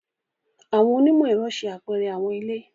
Àwọn onimọ-ẹrọ ṣe apẹrẹ àwọn ile.